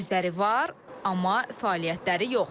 Özləri var, amma fəaliyyətləri yox.